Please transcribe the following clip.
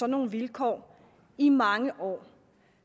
nogle vilkår i mange år